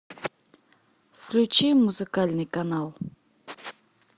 включи музыкальный канал